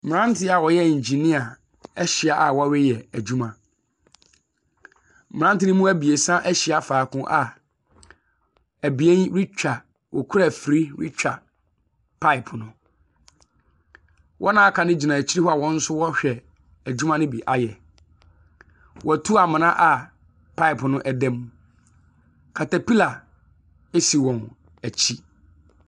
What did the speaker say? Mmranteɛ a wɔyɛ engineer ahyia a wɔreyɛ adwuma. Mmrante no mu abiesa ahyia faako a abien retwa wokura afiri retwa pipe no. Wɔn a aka no nso gyina aky hɔ a wɔn so wɔhwɛ adwuma no bi ayɛ. Wɔatu amena a pipe da mu. Katapila si wɔn akyi.